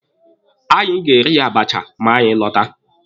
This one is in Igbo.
Anyị ga-eri abacha ma anyị lọta.